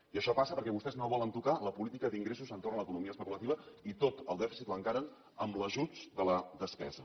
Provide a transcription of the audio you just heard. i això passa perquè vostès no volen tocar la política d’ingressos entorn de l’economia especulativa i tot el dèficit l’encaren amb l’ajust de la despesa